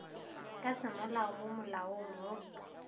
ka semolao mo malaong wo